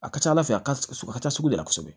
A ka ca ala fɛ a ka ca sugu de la kosɛbɛ